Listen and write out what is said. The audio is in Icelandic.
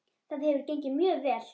Það hefur gengið mjög vel.